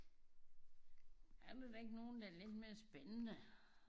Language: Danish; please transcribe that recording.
Er der da ikke nogen der er lidt mere spændende?